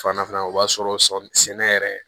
Fana fana o b'a sɔrɔ sɔ sɛnɛ yɛrɛ